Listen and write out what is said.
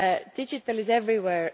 Digital is everywhere.